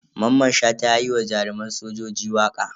Maman Shata yayi wa jaruman sojoji waƙe.